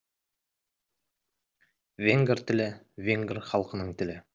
венгр тілі венгр халқының тілі